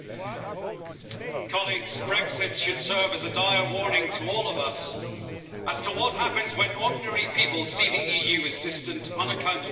Madam President, Brexit should serve as a dire warning to all of us as to what happens when ordinary people see the EU as distant, unaccountable and out of touch.